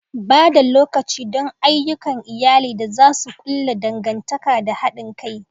Ba da lokaci don ayyukan iyali da za su ƙulla dangantaka da haɗin kai.